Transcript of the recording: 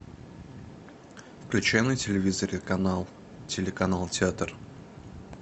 включи на телевизоре канал телеканал театр